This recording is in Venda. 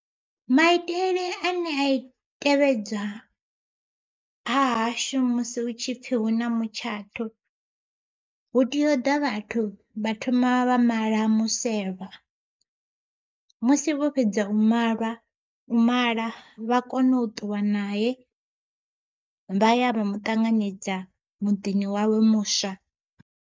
Maitele ane a tevhedzwa hahashu musi hutshipfi hu na mutshato, hu tea uḓa vhathu vha thoma vha mala muselwa musi vho fhedza u malwa, u mala vha kone u ṱuwa nae vha ya vha maṱanganedza muḓini wawe muswa.